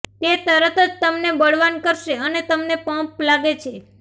તે તરત જ તમને બળવાન કરશે અને તમને પંપ લાગે છે